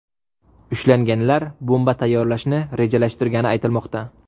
Ushlanganlar bomba tayyorlashni rejalashtirgani aytilmoqda.